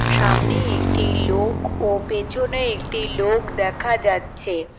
সামনে একটি লোক ও পেছনে একটি লোক দেখা যাচ্ছে।